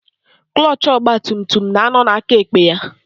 Klọchị ọgbatumtum na-ánọ̀ n'akaekpe ya.